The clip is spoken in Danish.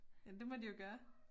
Jamen det må de jo gøre